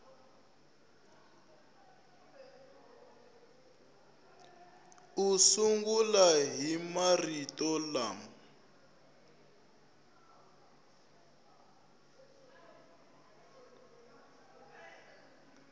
u sungula hi marito lama